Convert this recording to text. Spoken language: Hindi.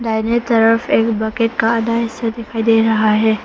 दाहिने तरफ एक बकेट का आधा हिस्सा दिखाई दे रहा है।